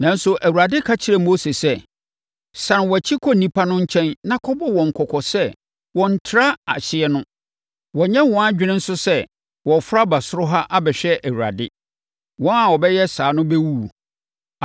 Nanso, Awurade ka kyerɛɛ Mose sɛ, “Sane wʼakyi kɔ nnipa no nkyɛn na kɔbɔ wɔn kɔkɔ sɛ wɔnntra ahyeɛ no. Wɔnnyɛ wɔn adwene nso sɛ wɔreforo aba soro ha abɛhwɛ Awurade. Wɔn a wɔbɛyɛ saa no bɛwuwu.